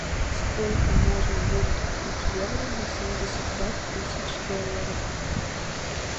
сколько можно будет купить евро на семьдесят пять тысяч долларов